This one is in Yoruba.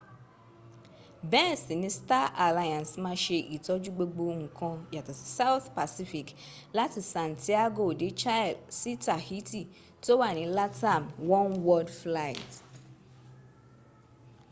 bẹ́ẹ̀ sì ni star alliance ma ṣe ìtọ́jú gbogbo ǹkan yàtọ̀ sí south pacific láti santiago de chile sí tahiti tó wà ní latam oneworld fligh